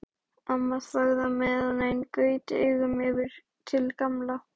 Amma þagði á meðan en gaut augunum yfir til Gamla.